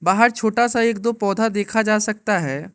बाहर छोटा सा एक दो पौधा देखा जा सकता है।